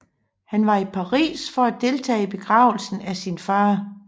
Han var i Paris for at deltage i begravelsen af sin far